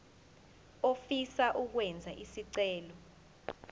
ofisa ukwenza isicelo